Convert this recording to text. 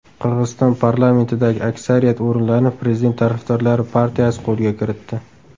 Qirg‘iziston parlamentidagi aksariyat o‘rinlarni prezident tarafdorlari partiyasi qo‘lga kiritdi.